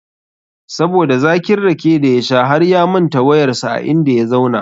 Saboda zakin rake da ya sha harya manta wayar sa a inda ya zauna